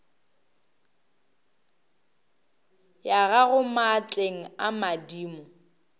ya gago maatleng a madimo